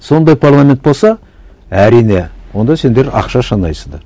сондай парламент болса әрине онда сендер ақша санайсыңдар